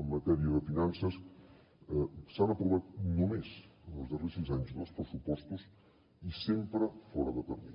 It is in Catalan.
en matèria de finances s’han aprovat només en els darrers sis anys dos pressupostos i sempre fora de termini